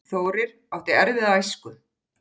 Þórir átti erfiða æsku.